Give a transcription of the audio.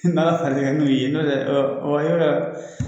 N'Ala faral'i kan n'u y'i ye nɔtɛ yɔrɔ